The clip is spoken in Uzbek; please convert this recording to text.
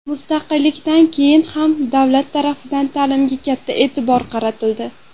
Mustaqillikdan keyin ham davlat tarafidan ta’limga katta e’tibor qaratildi.